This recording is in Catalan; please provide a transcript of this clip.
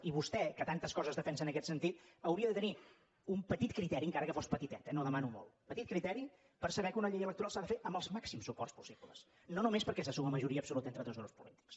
i vostè que tantes coses defensa en aquest sentit hauria de tenir un petit criteri encara que fos petitet eh no demano molt per saber que una llei electoral s’ha de fer amb els màxims suports possibles i no només perquè se suma majoria absoluta entre dos grups polítics